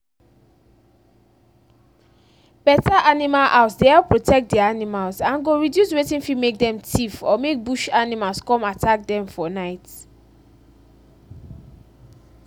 better animal house dey help protect the animals and go reduce watin fit make dem thief or make bush animal come attack dem for night